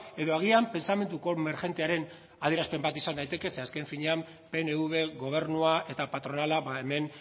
edo agian pentsamenduko emergentearen adierazpen bat izan daiteke ze azken finean pnv gobernua eta patronala hemen